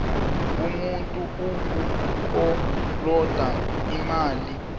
umuntu ukukoloda imali